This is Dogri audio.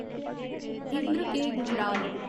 इंद्र के. गुजराल